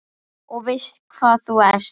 Og veistu hvað þú ert?